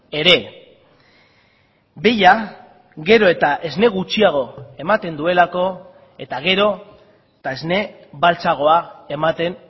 ere behia gero eta esne gutxiago ematen duelako eta gero eta esne beltzagoa ematen